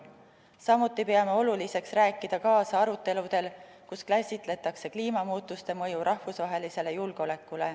Samuti peame oluliseks rääkida kaasa aruteludel, kus käsitletakse kliimamuutuste mõju rahvusvahelisele julgeolekule.